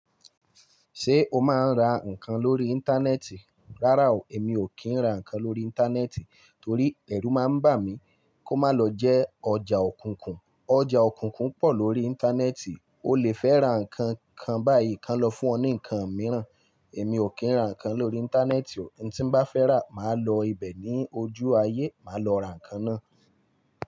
Ṣé o máa ń ra nǹkan lórí Íńtánẹ́ẹ̀tì? Rárá o, èmi ò kí ń ra nǹkan lórí Íńtánẹ́ẹ̀tì torí ẹ̀rù máa ń bà mí kó má lọ jẹ́ ọjà òkùnkùn. Ọjà òkùnkùn pọ̀ lórí Íńtánẹ́ẹ̀tì, o lè fẹ́ ra nǹkan kan báyìí, ki wọ́n lọ fún ọ ní nǹkan mìíràn. Èmi ò kí ń ra nǹkan lórí Íńtánẹ́ẹ̀tì o, ohun tí bá fẹ́ rà, màá lọ ibẹ̀ ní ojú ayé, màá lọ ra nǹkan náà.